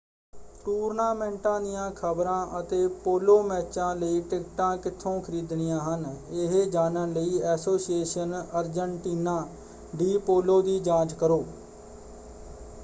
ਟੂਰਨਾਮੈਂਟਾਂ ਦੀਆਂ ਖਬਰਾਂ ਅਤੇ ਪੋਲੋ ਮੈਚਾਂ ਲਈ ਟਿਕਟਾਂ ਕਿੱਥੋਂ ਖਰੀਦਣੀਆਂ ਹਨ ਇਹ ਜਾਣਨ ਲਈ ਐਸੋਸੀਏਸ਼ਨ ਅਰਜਨਟੀਨਾ ਡੀ ਪੋਲੋ ਦੀ ਜਾਂਚ ਕਰੋ।